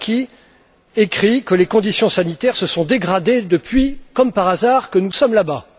Arlacchi écrit que les conditions sanitaires se sont dégradées depuis, comme par hasard, que nous sommes là bas.